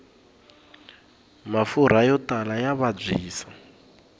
mafurha yo tala ya vabyisa